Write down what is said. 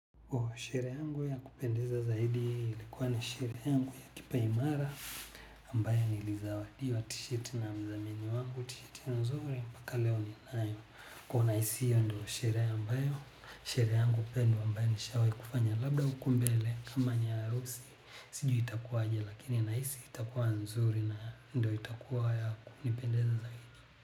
Oshere yangu ya kupendeza zaidi ilikuwa ni shere yangu ya kipaimara ambayo ni lizawadiwa, tisheti na mzamini wangu, tisheti mzuri, mpaka leo ni Nayo. Kwa naisi hiyo ndo shere ambayo, sherehe yangu pendwa ambayo nishawai kufanya labda huku mbele kama ni harusi, sijui itakuwaje lakini nahisi itakuwa nzuri na ndo itakuwa ya kunipendeza zaidi.